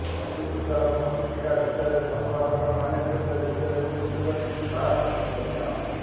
ଅଶୀ ପୃଷ୍ଠାର ପତ୍ରିକା ଭିତରେ ସମ୍ପାଦକମାନେ ଯେତେ ବିଷୟକୁ ଖୁନ୍ଦିଛନ୍ତି ତାହା ପ୍ରଶଂସନୀୟ